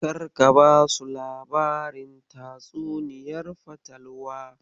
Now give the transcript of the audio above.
Karka basu labarin tatsuniyar fatalwar.